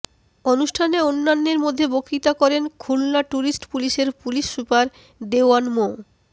অনুষ্ঠানে অন্যান্যের মধ্যে বক্তৃতা করেন খুলনা ট্যুরিস্ট পুলিশের পুলিশ সুপার দেওয়ান মো